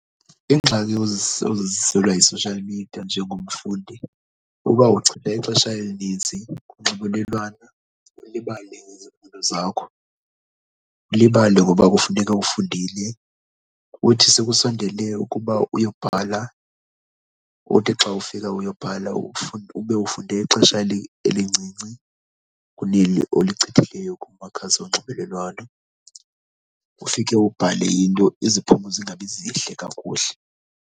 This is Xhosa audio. Iingxaki oziziselwa yi-social media njengomfundi uba uchitha ixesha elinintsi kunxibelelwano ulibale ngezifundo zakho, ulibale ngoba kufuneka ufundile. Uthi sekusondele ukuba uyobhala uthi xa ufika uyobhala ube ufunde ixesha elincinci kuneli olichithileyo kumakhasi onxibelelwano. Ufike ubhale into iziphumo zingabi zihle kakuhle.